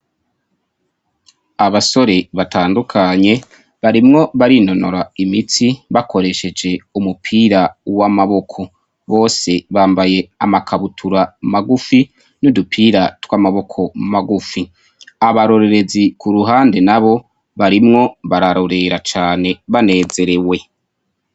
Abasore batandukanye barimwo barinonora imitsi bakoresheje umupira w'amaboko bose bambaye amakabutura magufi n'udupira tw'amaboko magufi abarorerezi ku ruhande na bo barimwo bararorera cane banezerewe.